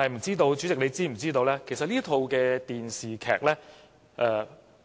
主席，其實